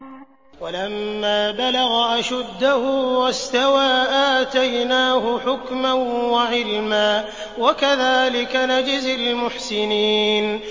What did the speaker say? وَلَمَّا بَلَغَ أَشُدَّهُ وَاسْتَوَىٰ آتَيْنَاهُ حُكْمًا وَعِلْمًا ۚ وَكَذَٰلِكَ نَجْزِي الْمُحْسِنِينَ